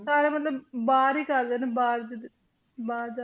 ਸਾਰੇ ਮਤਲਬ ਬਾਹਰ ਹੀ ਕਰਦੇ ਨੇ ਬਾਹਰ ਜਿੱਦਾਂ ਬਾਹਰ ਜਾ